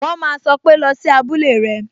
"wọn ma sọ pé" Lọ sí abúlé rẹ!